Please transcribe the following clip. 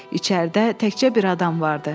İçəridə təkcə bir adam vardı.